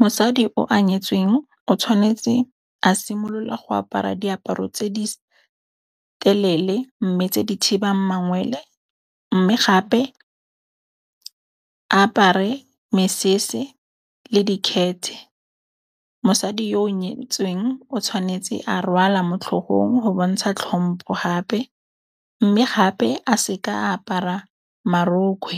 Mosadi o nyetsweng o tshwanetse a simolola go apara diaparo tse di telele mme tse di thibang mangwele. Mme gape a apare mesese le dikhete. Mosadi yo o nyetsweng o tshwanetse a rwala mo tlhogong go bontsha tlhompo gape mme gape a se ka apara marokgwe.